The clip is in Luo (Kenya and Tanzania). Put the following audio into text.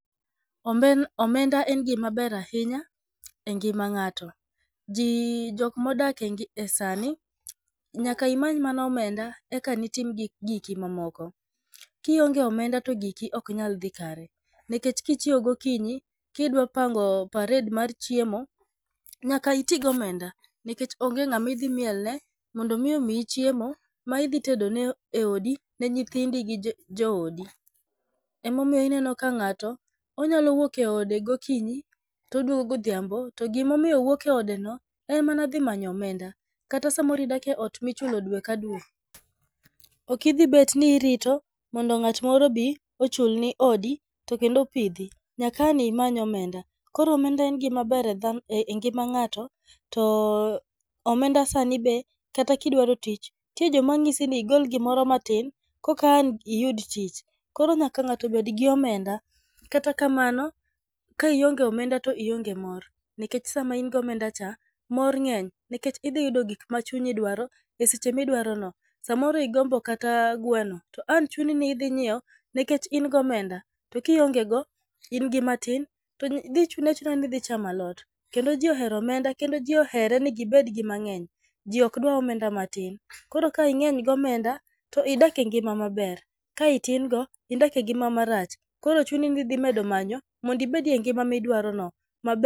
Omend omenda en gima ber ahinya e gima ng'ato. Ji jok modake e ngi e sani, nyaka imany mana omenda eka ditim gik giki mamoko. Kionge omenda to giki ok nyal dhi kare, nikech kichieo gokinyi, kidwa pango parade mar chiemo, nyaka iti gi omenda nikech onge ng'ama idhi mielne mondo mi omiyi chiemo ma idhi tedo ne oedi ne nyithindi ka ja joodi. Ema omiyo ineno ka ng'ato, onyalo wuok e ode gokinyi to oduogo godhiambo, to gima omiyo owuok e odeno en mana dhi manyo omenda. Kata samoro idak e ot michulo dwe ka dwe, ok idhi bet ni irito mondo ng'at moro obi ochulni odi to kendo opidhi, nyaka ang' imany omenda. Koro omenda en gima ber e dha e ngima ng'ato, to omenda sani be kata ka idwaro tich, nitie joma nyisi ni igol gimoro matin koka an iyud tich. Koro nyaka ng'ato bed gi omenda. Kata kamano, ka ionge omenda to ionge mor, nikech sama in gi omenda cha mor ng'eny, nikech idhi yudo gik ma chunyi dwaro e seche midwarono. Samoro igombo kata gweno to ang' chuni ni idhi nyiewo nikech in gi omenda, to kionge go in gi matin, to dhi chuni achuna idhi chamo alot. Kendo ji ohero omenda kendo ji ohere ni gibed mang'eny ji ok dwar omenda matin. Koro ka ing'eny gi omenda to idak e ng'ima maber, ka itin go to idak e ng'ima marach. Koro chuni ni idhi medo manyo mondo idag e ng'ima midwarono.